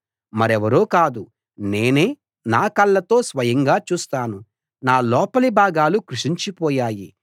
మరెవరో కాదు నేనే నా కళ్ళతో స్వయంగా చూస్తాను నా లోపలి భాగాలు కృశించిపోయాయి